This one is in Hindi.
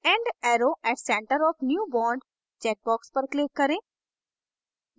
end arrow at center of new bond check box पर click करें